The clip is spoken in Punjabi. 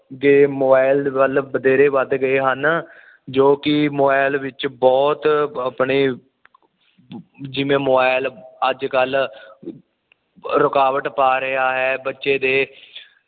ਜੇ ਮੋਬਾਇਲ ਵੱਲ ਬਥੇਰੇ ਵੱਧ ਗਏ ਹਨ ਜੋ ਕਿ ਮੋਬਾਇਲ ਵਿੱਚ ਬੁਹਤ ਆਪਣੇ ਜਿਵੇਂ ਮੋਬਾਇਲ ਅੱਜ ਕੱਲ ਰੁਕਾਵਟ ਪਾ ਰਿਹਾ ਏ ਬੱਚੇ ਦੇ